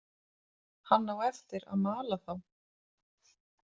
Hann á eftir að mala þá.